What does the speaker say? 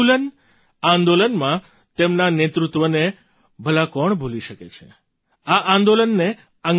ઉલગુલાન આંદોલનમાં તેમના નેતૃત્વને ભલા કોણ ભૂલી શકે છે આ આંદોલને